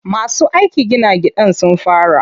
Masu aikin gina gidan sun fara.